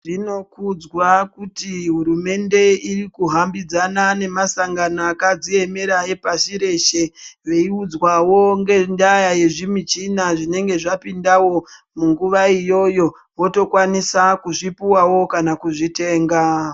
Zvinokudzwa kuti hurumende irikuhambidzana nemasangano akadziemera epasi reshe veiudzwawo ngendaya yezvimichina zvinenge zvapindavo munguva iyoyo votokwanisa kuzvipuwawo kaka kuzvitenga.